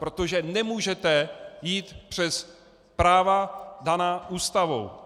Protože nemůžete jít přes práva daná Ústavou.